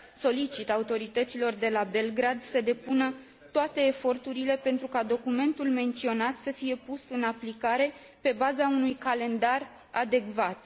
Solicit autorităților de la Belgrad să depună toate eforturile pentru ca documentul menționat să fie pus în aplicare pe baza unui calendar adecvat.